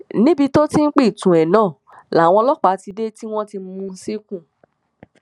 níbi tó ti ń pitú ẹ náà làwọn ọlọpàá ti dé tí wọn mú un ṣìnkún